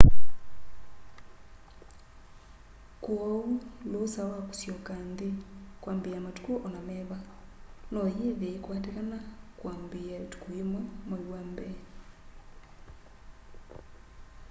kwooũ lũũsa wa kũsyoka nthĩ kwambĩĩa matũkũ ona meva noyĩthe yĩkwatĩkana kwambĩĩa 1 mwai wa mbee